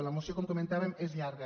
la moció com comentàvem és llarga